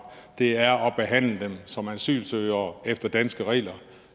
det er at behandle dem som asylsøgere efter danske regler